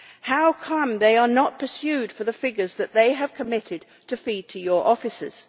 How come, Commissioner, they are not pursued for the figures that they have committed to feed to your officers?